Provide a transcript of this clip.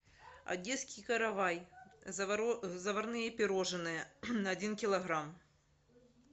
одесский каравай заварные пирожные один килограмм